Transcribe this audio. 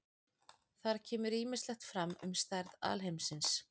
Þar kemur ýmislegt fram um stærð alheimsins.